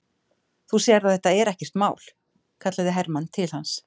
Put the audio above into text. Þú sérð að þetta er ekkert mál, kallaði Hermann til hans.